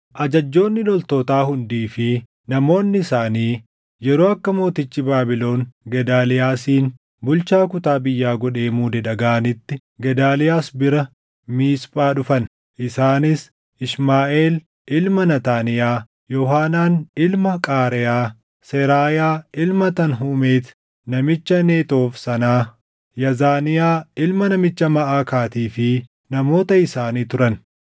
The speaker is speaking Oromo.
Ajajjoonni loltootaa hundii fi namoonni isaanii yeroo akka mootichi Baabilon Gedaaliyaasin bulchaa kutaa biyyaa godhee muude dhagaʼanitti Gedaaliyaas bira Miisphaa dhufan; isaanis Ishmaaʼeel ilma Naataaniyaa, Yoohaanaan ilma Qaareyaa, Seraayaa ilma Tanhumeeti namicha Netoof sanaa, Yaazaniyaa ilma namicha Maʼakaatii fi namoota isaanii turan.